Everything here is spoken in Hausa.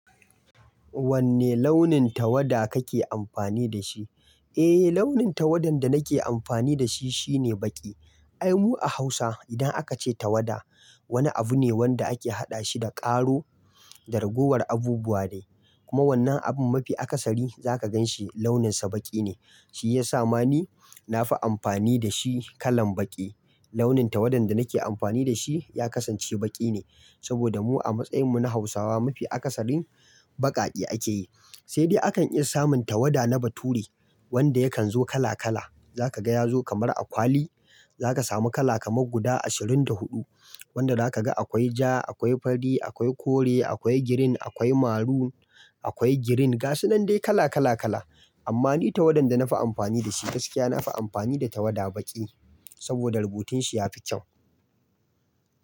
Wanne launin tawada kake amfani da shi? Eh, launin tawadan da nake amfani da shi shine baƙi. Ai mu a Hausa idan aka ce tawada wani abu ne wanda ake haɗa shi da ƙaro da ragowar abubuwa de. Kuma wannan abun mafi akasari za ka gan shi launinsa baƙi ne. Shi ya sa ma ni na fi amfani da shi kalan baƙi. Launin tawadan da nake amfani da shi ya kasance baƙi ne. Saboda mu a matsayin mu na Hausawa mafi akasarin baƙaƙe ake yi. Sai dai akan iya samun tawada na bature wanda yakan zo kala kala. Za ka ga ya zo kamar akwali. Za ka samu kala kamar guda ashirin da huɗu. Wanda za ka ga akwai ja, akwai fari, akwai kore, akwai girin, akwai maru, akwai girin. Ga su nan dai kala kala kala. Amma ni tawadan da na fi amfani da shi gaskiya na fi amfani da tawada baƙi. Saboda rubutun shi ya fi kyau.